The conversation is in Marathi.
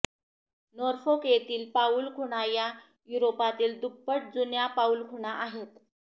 नोरफोक येथील पाऊलखुणा या युरोपातील दुप्पट जुन्या पाऊलखुणा आहेत